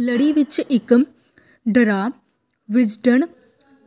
ਲੜੀ ਵਿਚ ਇਕ ਡਰਾਅ ਵਿਜ਼ਡਨ